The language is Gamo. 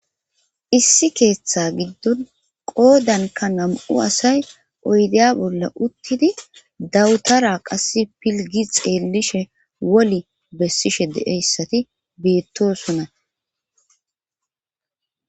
issi keeththa giddon qoodanka nam7u asay oydeya bolla uttidi dawutara qasse pilgi xeellishe woli bessishe de7eyssati beettosona